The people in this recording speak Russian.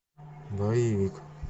боевик